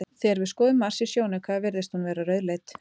Þegar við skoðum Mars í sjónauka virðist hún vera rauðleit.